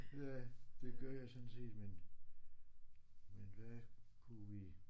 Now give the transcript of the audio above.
Ja det gør jeg sådan set men men hvad kunne vi